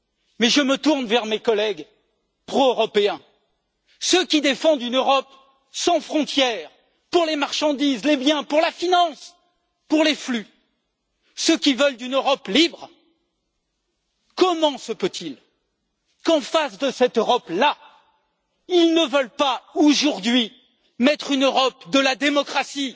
Mais je me tourne vers mes collègues proeuropéens, ceux qui défendent une Europe sans frontières pour les marchandises, les biens, pour la finance, pour les flux, ceux qui veulent une Europe libre. Comment se peut il qu'en face de cette Europe là, ils ne veulent pas, aujourd'hui, mettre en place une Europe de la démocratie,